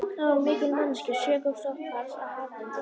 Þar var mikil mannekla sökum sóttarfars af harðindum.